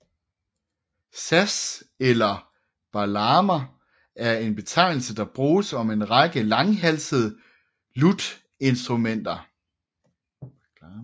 Saz eller baglama er en betegnelse der bruges om en række langhalsede lutinstrumenter